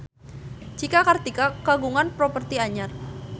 Cika Kartika kagungan properti anyar